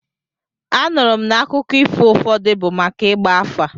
Anụrụ m n'akụkọ ifo ụfọdụ bụ maka ịgba afa.